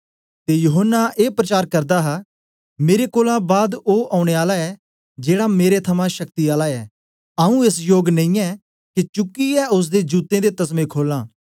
ते यूहन्ना ए प्रचार करदा हा मेरे कोलां बाद ओ औने आला ऐ जेड़ा मेरे थमां शक्ति आला ऐ आऊँ एस योग नेईयै के चुकी ऐ ओसदे जूतें दे तस्में खोलां